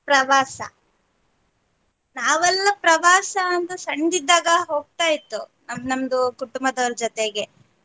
ಪ್ರವಾಸ ನಾವೆಲ್ಲ ಪ್ರವಾಸ ಅಂದ್ರೆ ಸಣ್ಣದಿದ್ದಾಗ ಹೋಗ್ತಾ ಇತ್ತು ನಮ್ದು ಕುಟುಂಬದವ್ರ ಜೊತೆಗೆ.